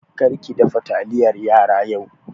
Kar ki dafa taliyar yara yau!